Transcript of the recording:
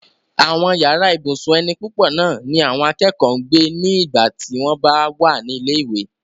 àwọn yàrá ibùsùn ẹni púpọ̀ náà ni àwọn akẹ́kọ̀ọ́ ń gbé ní ìgbà tí wọ́n bá wà ní ilé ìwé